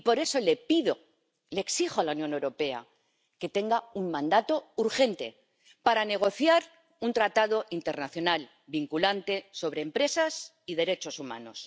Y por eso le pido, le exijo a la Unión Europea que tenga un mandato urgente para negociar un tratado internacional vinculante sobre empresas y derechos humanos.